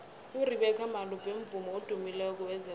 urebeca malope mvumi odumileko wezekolo